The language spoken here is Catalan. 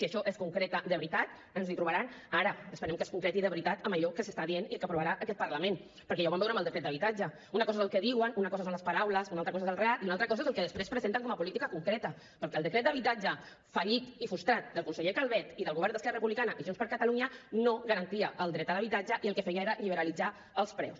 si això es concreta de veritat ens hi trobaran ara esperem que es concreti de veritat en allò que s’està dient i que aprovarà aquest parlament perquè ja ho vam veure amb el decret d’habitatge una cosa és el que diuen una cosa són les paraules una cosa és el relat i una altra cosa és el que després presenten com a política concreta perquè el decret d’habitatge fallit i frustrat del conseller calvet i del govern d’esquerra republicana i junts per catalunya no garantia el dret a l’habitatge i el que feia era liberalitzar els preus